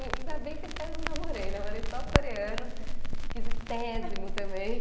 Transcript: Ainda bem que esse aí eu não namorei, namorei só o coreano, esquisitésimo também.